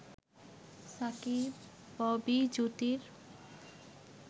Shakib-Bobby জুটির